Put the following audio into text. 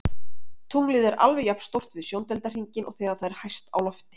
Tunglið er alveg jafn stórt við sjóndeildarhringinn og þegar það er hæst á lofti.